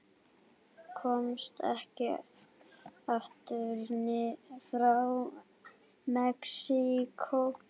Komst ekki aftur frá Mexíkó